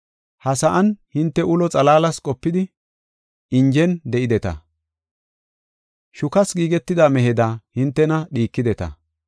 Ha sa7an hinte ulo xalaalas qopidi, injen de7ideta. Shukas giigetida meheda hintena dhiikideta.